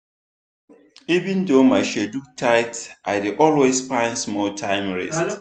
even though my schedule tight i dey always find small time rest.